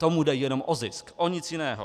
Tomu jde jenom o zisk, o nic jiného.